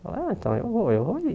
Ah, então eu vou, eu vou vir.